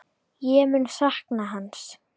Ég mun sakna hans.